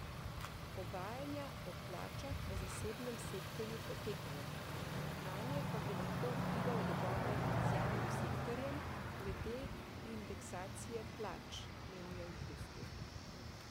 Pogajanja o plačah v zasebnem sektorju potekajo, nanje pa bi lahko vplival dogovor z javnim sektorjem glede indeksacije plač, menijo v Bruslju.